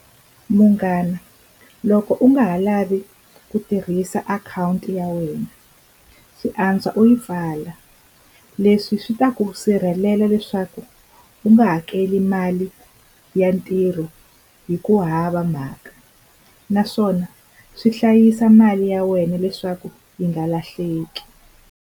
Munghana loko u nga ha lavi ku tirhisa akhawunti ya wena swi antswa u yi pfala leswi swi ta ku sirhelela leswaku u nga u hakeli mali ya ntirho hi ku hava mhaka naswona swi hlayisa mali ya wena leswaku yi nga lahleki.